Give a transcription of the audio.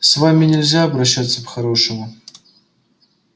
с вами нельзя обращаться по-хорошему